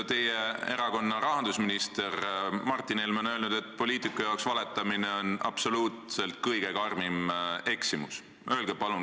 Teie erakonna rahandusminister Martin Helme on öelnud, et poliitikule on valetamine kõige karmim eksimus.